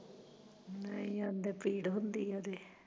ਨਹੀਂ ਅਗੇ ਪੀੜ ਹੁੰਦੀ ਐ ਉਹਦੇ